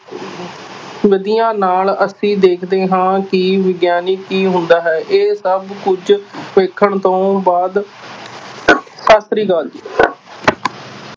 ਵਿੱਧੀਆਂ ਨਾਲ ਅਸੀਂ ਦੇਖਦੇ ਹਾਂ ਕਿ ਵਿਗਿਆਨ ਕੀ ਹੁੰਦਾ ਹੈ ਇਹ ਸਭ ਕੁਛ ਵੇਖਣ ਤੋਂ ਬਾਅਦ ਸਤਿ ਸ੍ਰੀ ਅਕਾਲ ਜੀ।